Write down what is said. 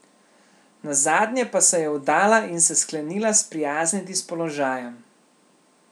Nazadnje pa se je vdala in se sklenila sprijazniti s položajem.